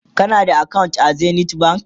kana da akawunt a zenith bank?